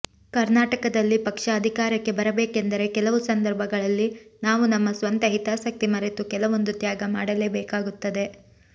ಕರ್ನಾಟಕದಲ್ಲಿ ಪಕ್ಷ ಅಧಿಕಾರಕ್ಕೆ ಬರಬೇಕೆಂದರೆ ಕೆಲವು ಸಂದರ್ಭಗಳಲ್ಲಿ ನಾವು ನಮ್ಮ ಸ್ವಂತ ಹಿತಾಸಕ್ತಿ ಮರೆತು ಕೆಲವೊಂದು ತ್ಯಾಗ ಮಾಡಲೇಬೇಕಾಗುತ್ತದೆ